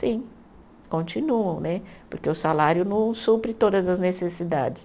Sim, continuam né, porque o salário não supre todas as necessidades.